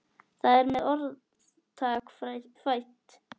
Þar með er orðtak fætt.